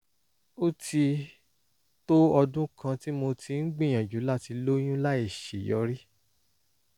ó ti tó ọdún kan tí mo ti ń gbìyànjú láti lóyún láìṣeyọrí